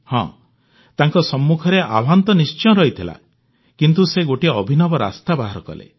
ହଁ ତାଙ୍କ ସମ୍ମୁଖରେ ଆହ୍ୱାନ ତ ନିଶ୍ଚୟ ରହିଥିଲା କିନ୍ତୁ ସେ ଗୋଟିଏ ଅଭିନବ ରାସ୍ତା ବାହାର କଲେ